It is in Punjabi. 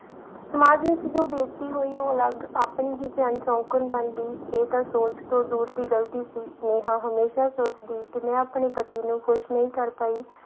ਸਮਾਜ ਵਿੱਚ ਜੋ ਬੇਇਜ਼ਤੀ ਹੋਈ ਉਹ ਅਲੱਗ ਆਪਣੀ ਹੀ ਭੈਣ ਸ਼ੌਂਕਣ ਬਣ ਗਈ ਇਹ ਤਾਂ ਸੋਚ ਤੋਂ ਦੂਰ ਦੀ ਗ਼ਲਤੀ ਸੀ, ਨੇਹਾਂ ਹਮੇਸ਼ਾ ਸੋਚਦੀ ਕਿ ਮੈਂ ਆਪਣੇ ਪਤੀ ਨੂੰ ਖ਼ੁਸ਼ ਨਹੀਂ ਕਰ ਪਾਈ।